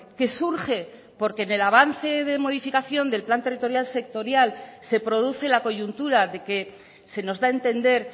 que surge porque en el avance de modificación del plan territorial sectorial se produce la coyuntura de que se nos da a entender